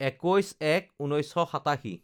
২১/০১/১৯৮৭